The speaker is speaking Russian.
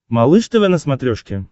малыш тв на смотрешке